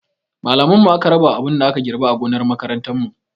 Malaman mu aka rabawa abin da aka girɓa a gonar makarantar mu